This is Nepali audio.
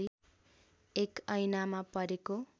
एक ऐनामा परेको